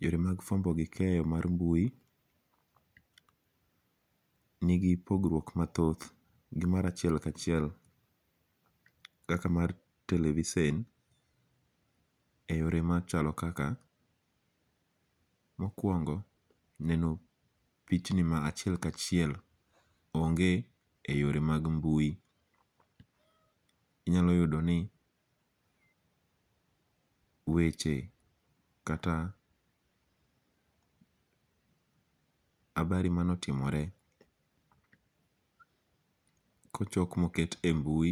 Yore mag fuambo gi keyo mar mbui, nigi pogruok mathoth , ni mara achiel kachiel kata mar televisen e yore machalo kaka, mokuongo neno pichni ma achiel kachiel onge' e yore mag mbui inyalo yudo ni weche kata habari mane otimore kochok moket e mbui,